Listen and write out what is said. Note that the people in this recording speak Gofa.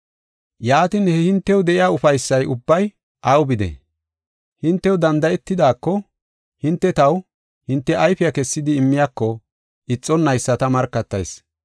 Yaatin, he hintew de7iya ufaysay ubbay aw bidee? Hintew danda7etidaako, hinte taw, hinte ayfiya kessidi immiyako ixonnaysa ta markatayis.